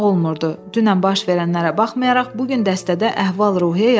Dünən baş verənlərə baxmayaraq, bu gün dəstədə əhval-ruhiyyə yaxşı idi.